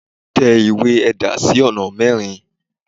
tẹ ìwé ẹda sí oná mẹrin